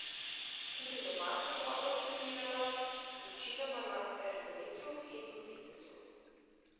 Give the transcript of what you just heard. Tudi doma sem dobro trenirala, večinoma na ergometru in v fitnesu.